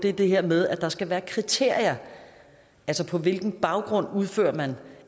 er det her med at der skal være kriterier altså på hvilken baggrund udfører man